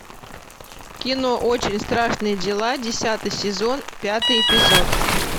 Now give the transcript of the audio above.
кино очень страшные дела десятый сезон пятый эпизод